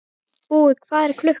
Búi, hvað er klukkan?